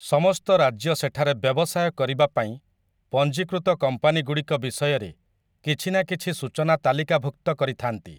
ସମସ୍ତ ରାଜ୍ୟ ସେଠାରେ ବ୍ୟବସାୟ କରିବାପାଇଁ ପଞ୍ଜୀକୃତ କମ୍ପାନୀଗୁଡ଼ିକ ବିଷୟରେ କିଛି ନା କିଛି ସୂଚନା ତାଲିକାଭୁକ୍ତ କରିଥାନ୍ତି ।